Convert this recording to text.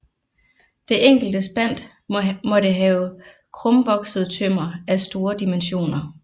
Det enkelte spant måtte have krumvokset tømmer af store dimensioner